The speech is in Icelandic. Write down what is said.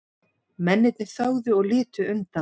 Mennirnir þögðu og litu undan.